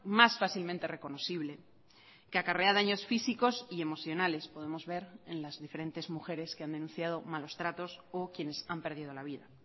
más fácilmente reconocible que acarrea daños físicos y emocionales podemos ver en las diferentes mujeres que han denunciado malos tratos o quienes han perdido la vida